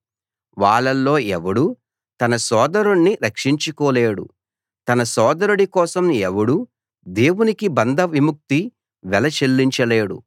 వాళ్ళలో ఎవడూ తన సోదరుణ్ణి రక్షించుకోలేడు తన సోదరుడి కోసం ఎవడూ దేవునికి బంధ విముక్తి వెల చెల్లించలేడు